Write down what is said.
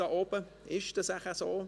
Ist das vielleicht so?